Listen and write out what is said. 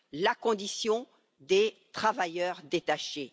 la condition des travailleurs détachés.